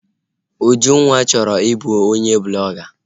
Ujunwa chọrọ i bụ onye blọga